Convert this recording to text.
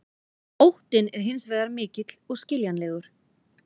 Óttinn er hins vegar mikill og skiljanlegur.